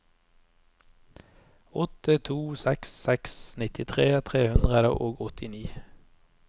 åtte to seks seks nittitre tre hundre og åttini